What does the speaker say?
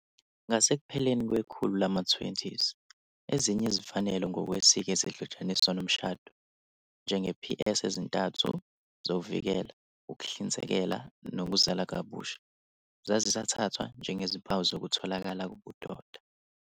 Ngasekupheleni kwekhulu lama-20, ezinye izimfanelo ngokwesiko ezihlotshaniswa nomshado, njenge "Ps ezintathu" "zokuvikela, ukuhlinzekela, nokuzala kabusha", zazisathathwa njengezimpawu zokutholakala kobudoda.